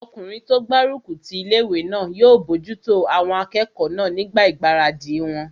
Ọkùnrin tó gbárùkù ti ilé-ìwé náà yóò bojútó àwọn akẹ́kọ̀ọ́ náà nígbà ìgbáradì wọn